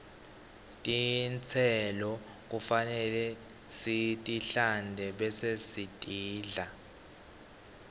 tistelo kufanele sitihlante bese sitidla